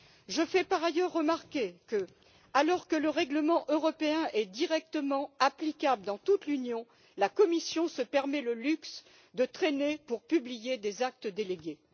Je fais par ailleurs remarquer que, alors que le règlement européen est directement applicable dans toute l'Union, la Commission se donne le luxe de traîner pour publier des actes délégués.